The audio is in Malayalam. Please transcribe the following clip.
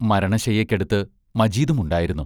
മരണശയ്യയ്ക്കടുത്ത് മജീദും ഉണ്ടായിരുന്നു.